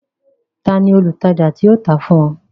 Ta ni olùtajà tí ó tà á fún ọ?